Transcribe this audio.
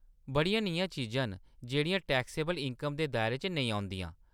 बड़ियां नेहियां चीजां न जेह्‌‌ड़ियां टैक्सेबल इनकम दे दायरे च नेईं औंदिंया।